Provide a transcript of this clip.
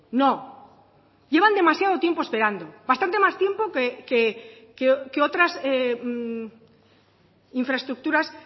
no llevan demasiado tiempo esperando bastante más tiempo que otras infraestructuras